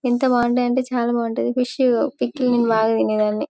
ఎంత బాగుంటాయంటే చాల బాగుంటాయి ఫిష్ పికిల్ నేను బాగా తినేదాన్ని .